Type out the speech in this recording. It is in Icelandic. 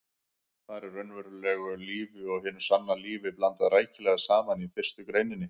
Þar er raunverulegu lífi og hinu sanna lífi blandað rækilega saman í fyrstu greininni.